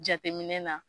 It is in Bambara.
Jateminɛ na